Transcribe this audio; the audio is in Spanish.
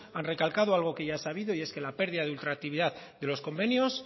han recalcado algo que ya es sabido y es que la pérdida de ultraactividad de los convenios